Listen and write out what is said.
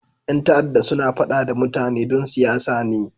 Yan ta'adda suna fada da mutane don siyasa ne.